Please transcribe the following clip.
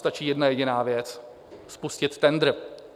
Stačí jedna jediná věc, spustit tendr.